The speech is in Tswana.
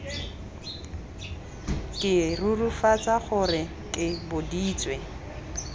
ke rurifatsa gore ke boditswe